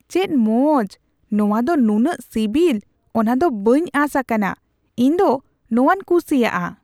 ᱪᱮᱫ ᱢᱚᱡ ! ᱱᱚᱣᱟ ᱫᱚ ᱱᱩᱱᱟᱹᱜ ᱥᱤᱵᱤᱞ, ᱚᱱᱟ ᱫᱚ ᱵᱟᱹᱧ ᱟᱥ ᱟᱠᱟᱱᱟ ᱾ ᱤᱧ ᱫᱚ ᱱᱚᱣᱟᱧ ᱠᱩᱥᱤᱭᱟᱜᱼᱟ ᱾